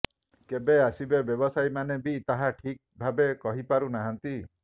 କେକେ ଆସିବେ ବ୍ୟବସାୟୀମାନେ ବି ତାହା ଠିକ୍ ଭାବେ କହିପାରୁ ନାହାନ୍ତି